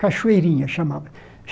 Cachoeirinha chamava